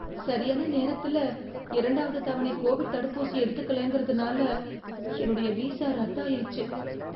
சரியான நேரத்தில இரண்டாவது தவணை கோவிட் தடுப்பூசி எடுத்துக்கலைன்றதுனால என்னுடைய வீசா ரத்தாயிருச்சு.